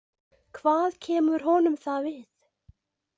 Hvað kemur honum það við?